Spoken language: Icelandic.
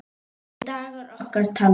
Eru dagar okkar taldir?